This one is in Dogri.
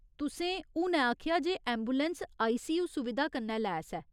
तुसें हुनै आखेआ जे ऐंबुलैंस आईसीयू सुविधा कन्नै लैस ऐ।